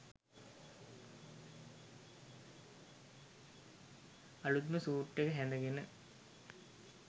අලූත්ම suit එක හැඳගෙන